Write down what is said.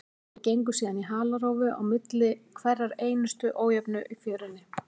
Þeir gengu síðan í halarófu á milli hverrar einustu ójöfnu í fjörunni.